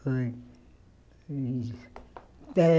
Foi. Eh